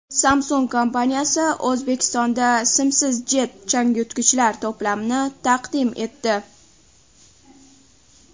Samsung kompaniyasi O‘zbekistonda simsiz Jet changyutgichlar to‘plamini taqdim etdi.